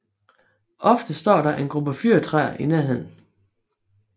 Ofte står der en gruppe fyrretræer i nærheden